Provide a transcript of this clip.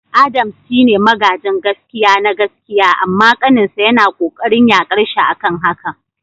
Adams shine magajin gaskia na gaskiya amma kaninsa yana kokarin yakarshi akan hakan.